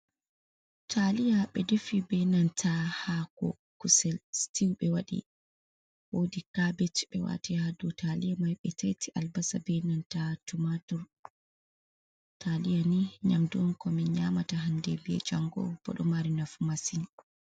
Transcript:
Taaliya ɓe defi bee nanta haako kusel sitiw ɓe waddi kabet ɓe waati haa dow taaliya mai ɓe taiti albasa bee nanta tumaatur taliya nii nyamdu onn ko min nyaamata hanndee bee janngo boo ɗo mari nafu masin.